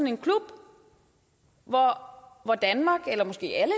en klub hvor danmark eller måske alle